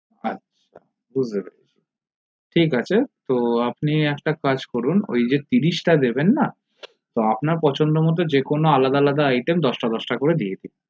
আচ্ছা good ঠিক আছে তো আপনে একটা কাজ করুন ওই যে ত্রিশ টা দেবেন না আপনার পছন্দ মতো যে কোনো item আলাদা আলাদা দশ টা দশটা করে দিয়ে দিন